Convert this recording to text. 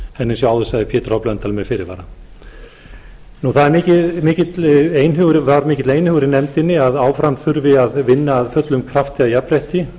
en eins og ég áður sagði pétur blöndal með fyrirvara það var mikill einhugur í nefndinni að áfram þurfi að vinna af fullum krafti að jafnrétti